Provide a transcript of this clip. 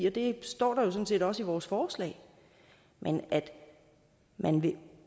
og det står der jo sådan set også i vores forslag men at man vil